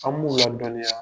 An b'u ladɔnniya.